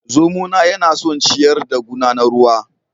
Zomona yana son ciyar da guna na ruwa